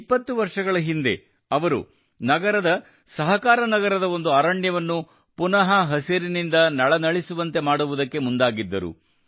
20 ವರ್ಷಗಳ ಹಿಂದೆ ಅವರು ನಗರದ ಸಹಕಾರನಗರದ ಒಂದು ಅರಣ್ಯವನ್ನು ಪುನಃ ಹಸಿರಿನಿಂದ ನಳನಳಿಸುವಂತೆ ಮಾಡುವುದಕ್ಕೆ ಮುಂದಾಗಿದ್ದರು